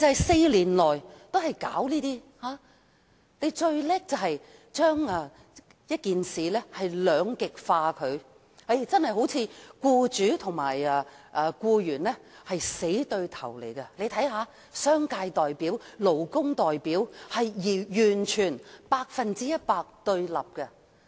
四年來，政府最擅長將事情兩極化，彷彿僱主和僱員是死對頭，商界代表和勞工代表是百分百對立。